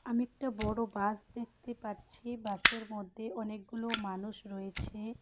আমি একটা বড় বাস দেখতে পাচ্ছি বাসের মধ্যে অনেকগুলো মানুষ রয়েছে।